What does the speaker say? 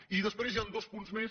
i després hi ha dos punts més